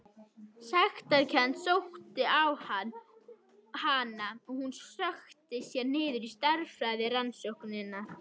Sektarkennd sótti á hana og hún sökkti sér niður stærðfræðirannsóknir.